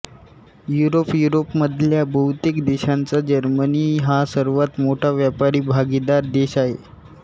युरोपयुरोपमधल्या बहुतेक देशांचा जर्मनी हा सर्वांत मोठा व्यापारी भागीदार देश आहे